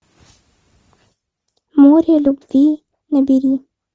море любви набери